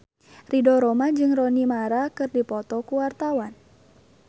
Ridho Roma jeung Rooney Mara keur dipoto ku wartawan